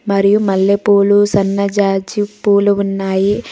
మరియు మల్లాపులు సనజాజి పూలు ఉన్నాయి.